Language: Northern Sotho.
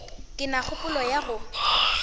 ke na kgopolo ya go